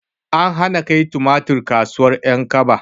An hana kai tumatir kasuwar ƴankaba